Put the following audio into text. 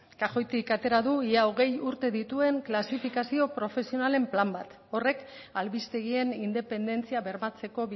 kajoitik atera du ia hogei urte dituen klasifikazio profesionalen plan bat horrek albistegien independentzia bermatzeko